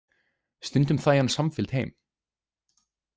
Stundum þægi hann samfylgd heim.